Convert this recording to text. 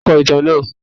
Tani o kọ itan naa?